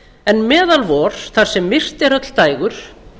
en meðal vor þar sem myrkt er öll dægur